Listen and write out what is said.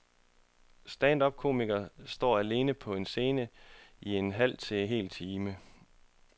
Stand-up komikere står alene på en scene i en halv til en hel time.